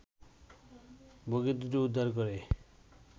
বগি দুটো উদ্ধার করে